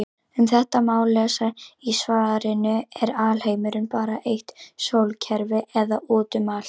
Um þetta má lesa í svarinu Er alheimurinn bara eitt sólkerfi eða út um allt?